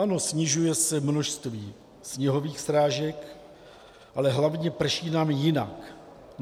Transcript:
Ano, snižuje se množství sněhových srážek, ale hlavně, prší nám jinak.